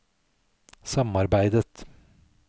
samarbeidet